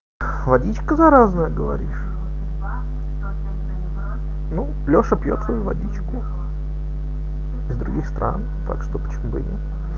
водичка заразная говоришь ну лёша пьёт свою водичку из других стран так что почему бы и нет